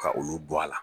Ka olu bɔ a la